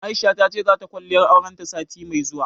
Aisha ta ce, za ta kwalliyar auren ta sati mai zuwa.